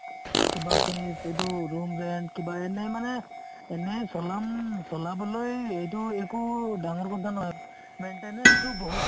কিবা fess এইটো room rent কিবা এনেই মানে এনে চলাম চলাবলৈ এইটো একো ডাঙৰ কথা নহয় maintenance বহুত